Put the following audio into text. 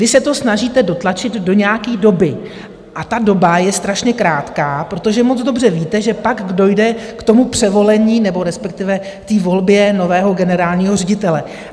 Vy se to snažíte dotlačit do nějaké doby, a ta doba je strašně krátká, protože moc dobře víte, že pak dojde k tomu převolení, nebo respektive k té volbě nového generálního ředitele.